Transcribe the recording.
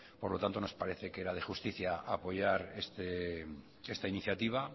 por lo tanto nos parece que era de justicia apoyar esta iniciativa